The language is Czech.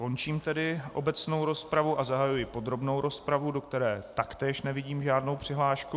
Končím tedy obecnou rozpravu a zahajuji podrobnou rozpravu, do které taktéž nevidím žádnou přihlášku.